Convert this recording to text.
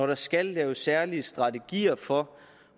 der skal laves særlige strategier for